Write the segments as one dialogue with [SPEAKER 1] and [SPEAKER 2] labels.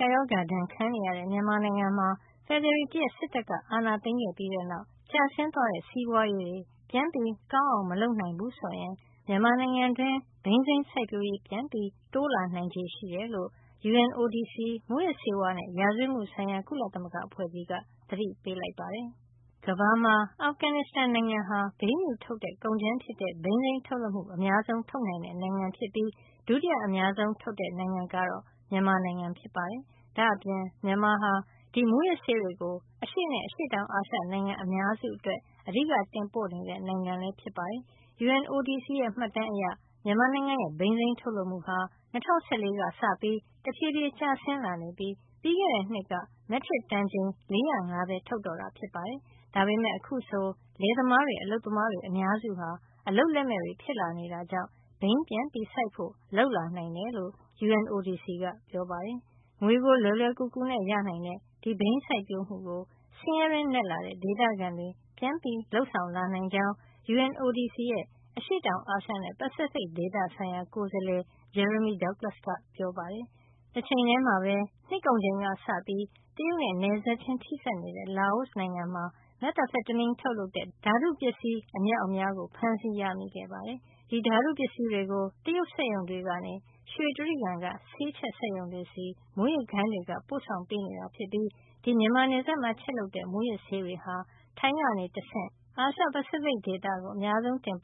[SPEAKER 1] ကပ်ရောဂါ ဒဏ်ခံနေရတဲ့ မြန်မာနိုင်ငံမှာ ဖေဖေါ်ဝါရီလ ၁ ရက်စစ်တပ်က အာဏာသိမ်း ခဲ့ပြီးတဲ့နောက် ကျဆင်းသွားတဲ့ စီးပွားရေးတွေ ပြန်ပြီး ကောင်းအောင် မလုပ်နိုင်ဘူးဆိုရင် မြန်မာနိုင်ငံတွင်း ဘိန်းစိမ်းစိုက်ပျိုးရေး ပြန်ပြီး တိုးလာနိုင်ခြေရှိတယ်လို့ UNODC မူးယစ်ဆေးဝါးနဲ့ ရာဇဝတ်မှုဆိုင်ရာ ကုလသမဂ္ဂအဖွဲ့ကြီးက သတိပေးလိုက်ပါတယ်။ ကမ္ဘာမှာ အာဖဂန်နစ်စတန်နိုင်ငံဟာ ဘိန်းဖြူထုတ်တဲ့ကုန်ကြမ်းဖြစ်တဲ့ ဘိန်းစိမ်းထုတ်လုပ်မှု အများဆုံးနိုင်ငံဖြစ်ပြီး ဒုတိယအများဆုံး နိုင်ငံကတော့ မြန်မာနိုင်ငံဖြစ်ပါတယ်။ ဒါ့အပြင် မြန်မာဟာ ဒီမူးယစ်ဆေးတွေကို အရှေ့နဲ့ အရှေ့တောင်အာရှ နိုင်ငံအများစုအတွက် အဓိက တင်ပို့နေတဲ့ နိုင်ငံလည်း ဖြစ်ပါတယ်။ UNODC ရဲ့ မှတ်တမ်းအရ မြန်မာနိုင်ငံရဲ့ ဘိန်းစိမ်းထုတ်လုပ်မှုဟာ ၂၀၁၄ ကစပြီး တဖြေးဖြေး ကျဆင်းလာနေပြီး ပြီးခဲ့တဲ့ နှစ်က မက်ထရစ်တန်ချိန် ၄၀၅ ပဲ ထုတ်တော့တာ ဖြစ်ပါတယ်။ ဒါပေမယ့် အခုဆိုရင် လယ်သမားတွေ၊ အလုပ်သမားတွေ အများစုဟာ အလုပ်လက်မဲ့တွေ ဖြစ်လာနေတာကြောင့် ဘိန်းပြန်စိုက်ဖို့ လုပ်လာနိုင်တယ်လို့ UNODC ကပြောပါတယ်။ ငွေကို လွယ်လွယ်ကူကူနဲ့ ရနိုင်တဲ့ဒီဘိန်းစိုက်ပျိုးမှုကို ဆင်းရဲတွင်းနက်လာတဲ့ ဒေသခံတွေ ပြန်ပြီး လုပ်ဆောင်လာနိုင်ကြောင်း UNODC ရဲ့ အရှေ့တောင်အာရှနဲ့ ပစိဖိတ် ဒေသဆိုင်ရာ ကိုယ်စားလှယ် Jeremy Douglas က ပြောပါတယ်။ တချိန်ထဲမှာပဲ နှစ်ကုန်ချိန်ကစပြီး တရုတ်နဲ့ နယ်စပ်ချင်း ထိစပ်နေတဲ့ လာအိုနိုင်ငံမှာ methamphetamine ထုတ်လုပ်တဲ့ ဓါတုပစ္စည်း အမြောက်အများ ဖမ်းဆီးရမိခဲ့ ပါတယ်။ ဒီဓါတုပစ္စည်းတွေကို တရုတ်စက်ရုံတွေကနေ ရွှေတြိဂံ က ဆေးချက်ရုံတွေဆီ မူးယစ်ဂိုဏ်းတွေက ပို့ဆောင်နေတာ ဖြစ်ပြီး ဒီ မြန်မာနယ်စပ်မှာ ချက်လုပ်တဲ့ မူးယစ်ဆေးတွေဟာ ထိုင်းကနေတဆင့် အာရှ - ပစိဖိတ် ဒေသကို တင်ပို့နေတာ ဖြစ်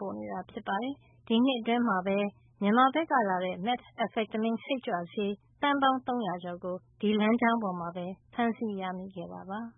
[SPEAKER 1] ပါတယ်။ ဒီနှစ်အတွင်းမှာပဲ မြန်မာဘက်ကလာတဲ့ meth စိတ်ကြွဆေး သန်းပေါင်း ၃၀၀ ကျော်ကို ဒီလမ်းကြောင်းပေါ်မှာ ဖမ်းဆီးရမိခဲ့တာပါ။